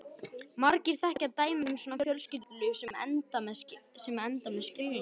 Margir þekkja dæmi um svona fjölskyldulíf sem enda með skilnaði.